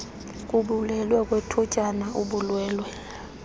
kubulwelwe kwethutyana ubulwelwe